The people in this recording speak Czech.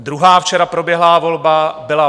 Druhá včera proběhlá volba byla